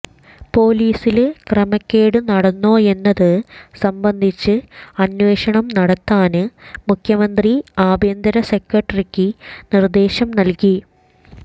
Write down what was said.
പോലീസില് ക്രമക്കേട് നടന്നോയെന്നത് സംബന്ധിച്ച് അന്വേഷണം നടത്താന് മുഖ്യമന്ത്രി ആഭ്യന്തര സെക്രട്ടറിക്ക് നിര്ദ്ദേശം നല്കി